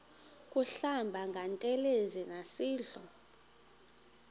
kuhlamba ngantelezi nasidlo